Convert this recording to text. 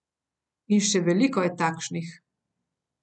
In še veliko je takšnih.